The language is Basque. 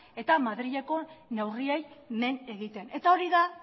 eta madrileko neurriei men egiten eta hori da